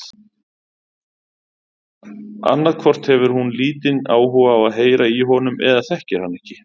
Annað hvort hefur hún lítinn áhuga á að heyra í honum eða þekkir hann ekki.